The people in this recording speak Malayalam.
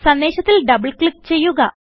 സന്ദേശത്തിൽ ഡബിൾ ക്ലിക്ക് ചെയ്യുക